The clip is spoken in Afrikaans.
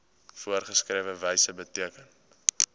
voorgeskrewe wyse beteken